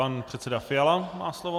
Pan předseda Fiala má slovo.